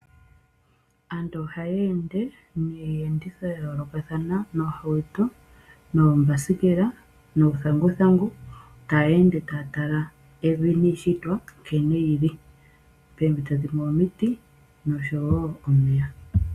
Aantu ohaya ende niiyenditho ya yoolokathana, noohauto noombasikela nuuthanguthangu ta yeende taya tala evi niishitwa nkene yi li. Poompito dhimwe omiti nosho wo omeya.